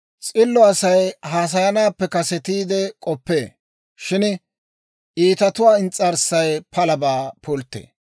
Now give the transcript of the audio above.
S'illo Asay haasayanaappe kasetiide k'oppee; shin iitatuwaa ins's'arssay palabaa pulttee.